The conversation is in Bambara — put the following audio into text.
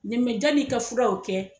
janni i ka fura o kɛ